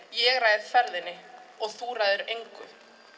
ég ræð ferðinni og þú ræður engu